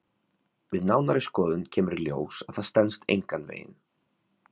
Við nánari skoðun kemur í ljós að það stenst engan veginn.